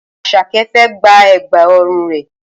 Asake fẹ́ gba Ẹ̀gbá ọrùn rẹ̀